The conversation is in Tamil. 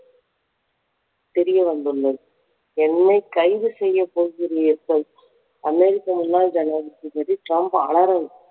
தெரியவந்துள்ளது. என்னை கைது செய்யப் போகிறீர்கள் அமெரிக்க முன்னாள் ஜனாதிபதி ட்ரம்ப் அலறல்